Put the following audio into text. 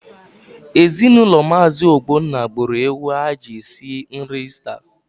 Ezinaụlọ Maazi Ogbonna gburu ewu ha ji sie nri Ista.